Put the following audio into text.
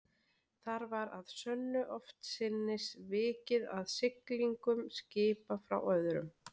Þar var að sönnu oftsinnis vikið að siglingum skipa frá öðrum